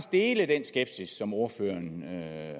dele den skepsis som ordføreren